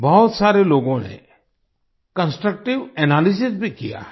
बहुत सारे लोगों ने कंस्ट्रक्टिव एनालिसिस भी किया है